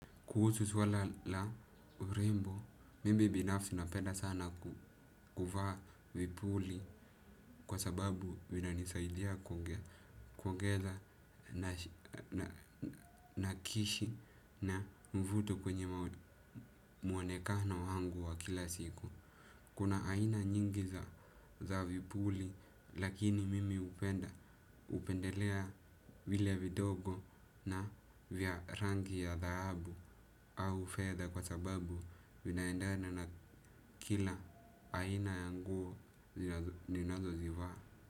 Kuhusu swala la urembo, mimi binafsi napenda sana kuvaa vipuli kwa sababu vinanisaidia kuongeza na kishi na mvuto kwenye mwonekano wangu wa kila siku. Kuna aina nyingi za vipuli lakini mimi hupendelea vile vidogo na vya rangi ya dhahabu au fedha kwa sababu vinaendana na kila aina ya nguo ninazozivaa.